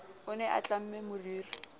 o ne a tlamme moriri